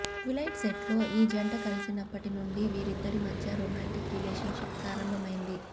twilight సెట్లో ఈ జంట కలిసినప్పటి నుండి వీరిద్దరి మధ్య రొమాంటిక్ రిలేషన్ షిప్ ప్రారంభమైంది